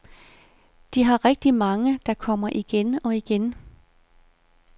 De har rigtig mange, der kommer igen og igen.